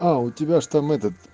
а у тебя ж там этот